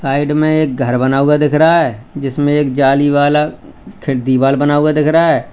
Side में एक घर बना हुआ दिख रहा है जिसमें एक जाली वाला खिड़ दीवार बना हुआ दिख रहा है।